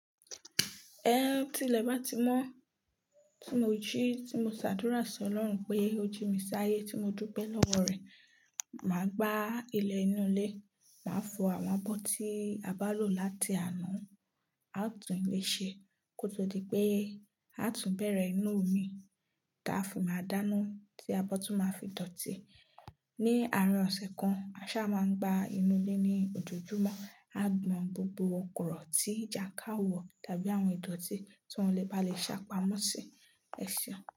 Ẹhn tilẹ̀ bá ti mọ́ tí mo jí, tí mo ṣàdúrà sí Ọlọ́run pé ó jí mi sáyé tí mo dúbẹ́ lọ́wọ́ rẹ̀. Màá gbá ilẹ̀ inú ilé, màá fọ àwọn abọ́ tí a bá lò láti àná, á tún ilé ṣe kó tó di pé a tún bẹ̀rẹ̀ ina mii táa fi máa dáná tí abọ́ tún máa fi dọ̀tí. Ni àárín ọ̀sẹ̀ kan, a ṣá máa ń gba inú ilé ní òjòjúmọ́, á gbọn gbogbo kòrò tí ìjàkáriwọ̀ tàbí àwọn ìdọ̀tí tí wọ́n le bá le ṣàpamọ́ sí ẹ̀ ṣẹ̀un.